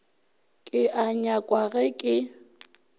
ke a nyakwa ge ke